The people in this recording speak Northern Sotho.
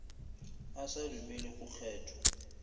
a sa dumele go kgethwa